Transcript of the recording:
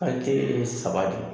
ye saba de ye